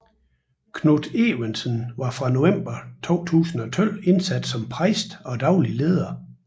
Knut Evensen var fra november 2012 indsat som præst og daglig leder